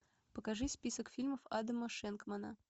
покажи список фильмов адама шенкмана